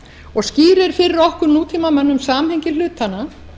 og skýrir fyrir okkur nútímamönnum samhengi hlutanna